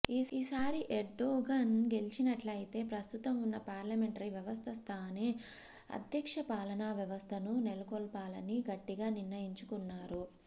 ఈసారి ఎర్డొగన్ గెలిచినట్లయితే ప్రస్తుతంవున్న పార్లమెంటరీ వ్యవస్థస్థానే అధ్యక్ష పాలనా వ్యవస్థను నెలకొల్పాలని గట్టిగా నిర్ణయించుకున్నారు